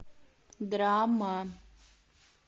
драма